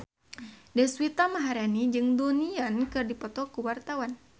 Deswita Maharani jeung Donnie Yan keur dipoto ku wartawan